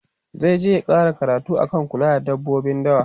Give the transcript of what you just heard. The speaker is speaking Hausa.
zaije ya ƙara karatu akan kula da dabbobin dawa